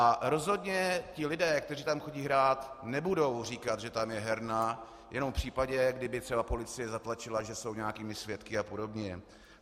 A rozhodně ti lidé, kteří tam chodí hrát, nebudou říkat, že tam je herna, jenom v případě, kdyby třeba policie zatlačila, že jsou nějakými svědky a podobně.